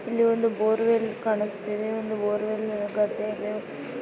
ಇಲ್ಲಿ ಒಂದು bore well ಕಾಣುಸ್ಥಾ ಇದೆ. ಒಂದು ಬೋರ್ ವೆಲ್ ಗದ್ದೆ ಇದೆ.